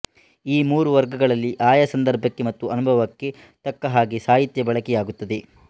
ಈ ಮೂರು ವರ್ಗಗಳಲ್ಲಿ ಆಯಾ ಸಂದರ್ಭಕ್ಕೆ ಮತ್ತು ಅನುಭವಕ್ಕೆ ತಕ್ಕ ಹಾಗೆ ಸಾಹಿತ್ಯಬಳಕೆಯಾಗುತ್ತದೆ